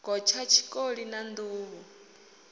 gotsha tshikoli na nḓuhu ho